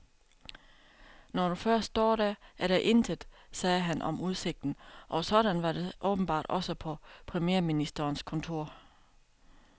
Når du først står der, er der intet, sagde han om udsigten, og sådan var det åbenbart også på premierministerens kontor.